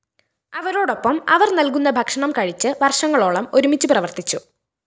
അവരോടൊപ്പം അവര്‍ നല്‍കുന്ന ഭക്ഷണം കഴിച്ച് വര്‍ഷങ്ങളോളം ഒരുമിച്ച് പ്രവര്‍ത്തിച്ചു